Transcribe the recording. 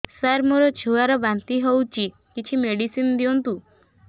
ସାର ମୋର ଛୁଆ ର ବାନ୍ତି ହଉଚି କିଛି ମେଡିସିନ ଦିଅନ୍ତୁ